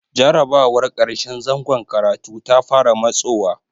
Jarrabawar ƙarshen zangon karatu ta fara matsowa.